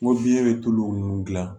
N ko biyɛn bɛ tulu mun dilan